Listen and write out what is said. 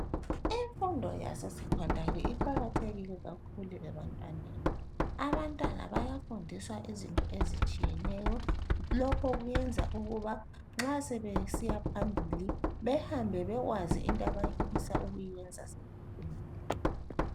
Imfundo yase secondary iqakathekile kakhulu ebantwaneni, abantwana bayafundiswa izinto ezitshiyeneyo lokho kuyenza ukuba nxa sebesiya phambili behambe bekwazi into abafisa ukuyiyenza sebekhulile.